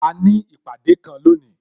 A ní ìpàdé kan lónìí